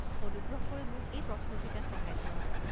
অনুগ্ৰহ কৰি মোক এই প্ৰশ্নকেইটাত সহায় কৰক।